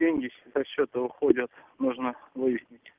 деньги со счета уходят нужно выяснить